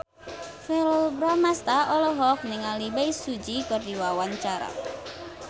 Verrell Bramastra olohok ningali Bae Su Ji keur diwawancara